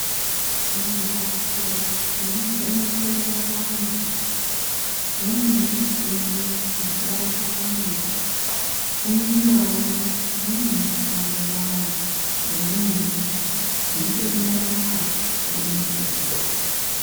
Mimbatso inovhenekerwa vantu mune michini yakawanda wanda umwe nganaumwe unemushando wawo weunoita nedenda rawo reunovheneka.